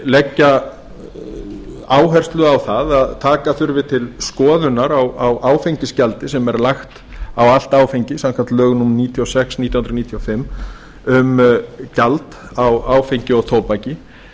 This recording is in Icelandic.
leggja áherslu á það að taka þurfi til skoðunar á áfengisgjaldi sem er lagt á allt áfengi samkvæmt lögum númer níutíu og sex nítján hundruð níutíu og fimm um gjald á áfengi og tóbaki